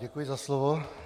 Děkuji za slovo.